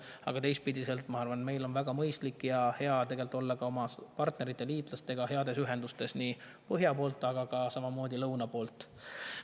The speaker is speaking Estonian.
Aga teistpidi, ma arvan, meil on väga mõistlik ja hea olla oma partnerite ja liitlastega heas ühenduses põhja poolt ja samamoodi ka lõuna poolt.